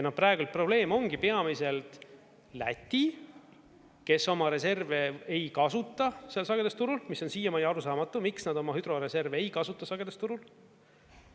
Ja praegu probleem ongi peamiselt Läti, kes oma reserve ei kasuta seal sagedusturul, mis on siiamaani arusaamatu, miks nad oma hüdroreserve ei kasuta sagedusturul.